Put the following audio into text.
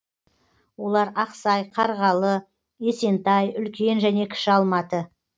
олар ақсай қарғалы есентай үлкен және кіші алматы